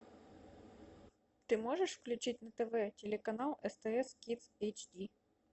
ты можешь включить на тв телеканал стс кидс эйч ди